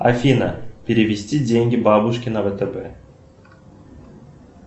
афина перевести деньги бабушке на втб